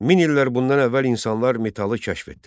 Min illər bundan əvvəl insanlar metalı kəşf etdilər.